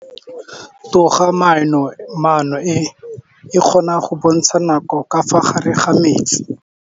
Toga-maanô e, e kgona go bontsha nakô ka fa gare ga metsi.